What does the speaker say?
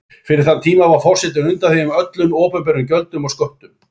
Fyrir þann tíma var forsetinn undanþeginn öllum opinberum gjöldum og sköttum.